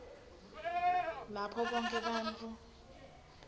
lapho bonkhe bantfu